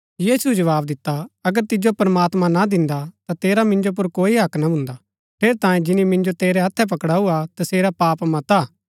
यीशुऐ जवाव दिता अगर तिजो प्रमात्मां ना दिन्दा ता तेरा मिन्जो पुर कोई हक्क ना भून्दा ठेरैतांये जिनी मिन्जो तेरै हत्थै पकड़ाऊ हा तसेरा पाप मता हा